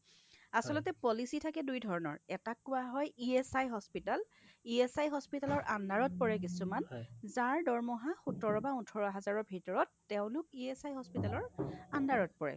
আচলতে policy থাকে দুইধৰণৰ এটাক কোৱা হয় ESI hospital ,ESI hospital ৰ underত পৰে কিছুমান যাৰ দৰমহা সোতৰ বা ওঠৰ হাজাৰৰ ভিতৰত তেওঁলোক ESI hospital ৰ underত পৰে